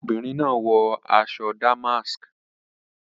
Fadeke is wearing a golden wristwatch